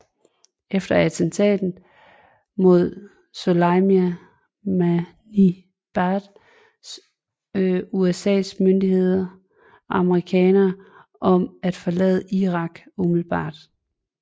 Efter attentatet mod Soleimani bad USAs myndigheder amerikanere om at forlade Irak umiddelbart